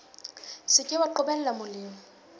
se ke wa qobella molemi